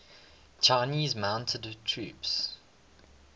chinese mounted troops